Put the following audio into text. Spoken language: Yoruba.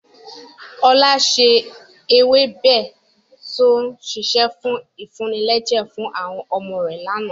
Ọlá ṣe ewébẹ̀ to ń sise fún ìfúnilẹ́jẹ̀ fún àwọn ọmọ rẹ̀ láánaà.